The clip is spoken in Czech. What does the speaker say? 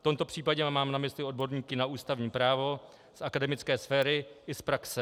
V tomto případě mám na mysli odborníky na ústavní právo z akademické sféry i z praxe.